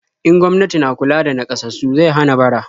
In gwamnati na kula da naƙasassu zai hana bara.